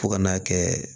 Fo ka n'a kɛ